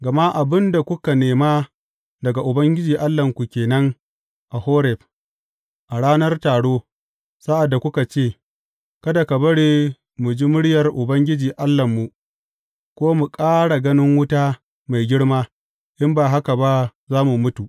Gama abin da kuka nema daga Ubangiji Allahnku ke nan a Horeb, a ranar taro, sa’ad da kuka ce, Kada ka bari mu ji muryar Ubangiji Allahnmu, ko mu ƙara ganin wuta mai girma, in ba haka ba, za mu mutu.